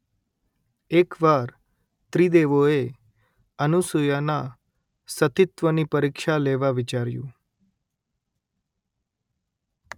એક વાર ત્રિદેવોએ અનુસૂયાના સતીત્વની પરિક્ષા લેવા વિચાર્યું